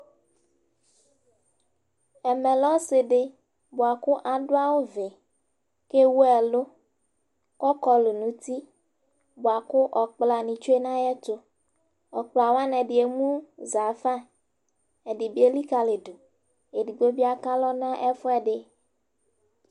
Ɛmɛ ɔsɩ dɩ adʋ awʋ, kʋ ewu ɛlʋ bʋa kʋ ɔkpla nɩ tsue nʋ ayɛtʋ, ɔkpla wanɩ ,ɛdɩ emuza fa